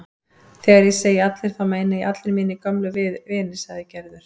Þegar ég segi allir þá meina ég allir mínir gömlu vinir sagði Gerður.